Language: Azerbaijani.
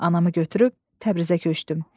Anamı götürüb Təbrizə köçdüm.